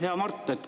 Hea Mart!